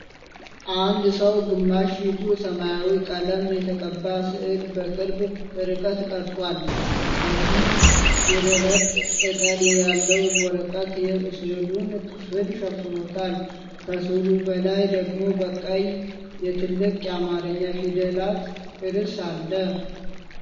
አንድ ሰው ግማሽ ፊቱ ሰማያዊ ቀለም የተቀባ ሥዕል በቅርብ ርቀት ቀርጿል። ከፊል የደረቀ ቅጠል ያለው ወረቀት የሥዕሉን ክፍል ሸፍኖታል። ከስዕሉ በላይ ደግሞ በቀይ የትልቅ የአማርኛ ፊደላት ርዕስ አለ።